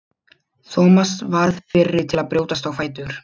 Thomas varð fyrri til að brjótast á fætur.